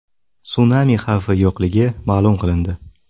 Sunami xavfi yo‘qligi ma’lum qilindi.